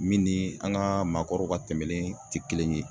Min ni an ŋaa maakɔrɔw ka tɛmɛlen te kelen ye.